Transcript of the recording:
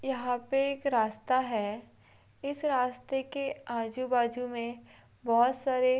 यहाँ पे एक रास्ता है इस रास्ते के आजू बाजू में बहुत सारे--